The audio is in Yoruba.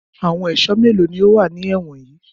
Àwọn ẹ̀sọ́ mélòó ni ó wà ní ẹ̀wọ̀n yìí?